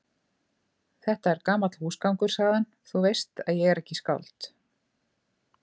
Þetta er gamall húsgangur, sagði hann,-þú veist að ég er ekki skáld.